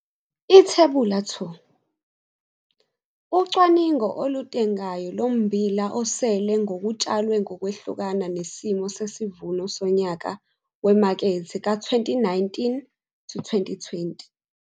IThebula 2- Ucwaningo olutengayo lommbila osele ngokutshalwe ngokwehlukana nesimo sesivuno sonyaka wemakethe ka-2019 to 2020.